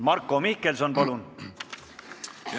Marko Mihkelson, palun!